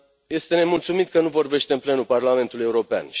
Este nemulțumit că nu vorbește în plenul Parlamentului European.